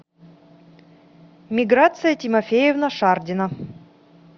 миграция тимофеевна шардина